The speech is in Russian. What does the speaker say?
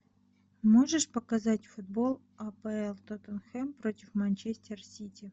можешь показать футбол апл тоттенхэм против манчестер сити